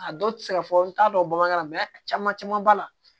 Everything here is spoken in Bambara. A dɔw tɛ se ka fɔ n t'a dɔn bamanankan na a caman caman b'a la